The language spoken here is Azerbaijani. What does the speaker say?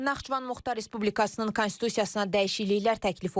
Naxçıvan Muxtar Respublikasının Konstitusiyasına dəyişikliklər təklif olunur.